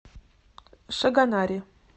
шагонаре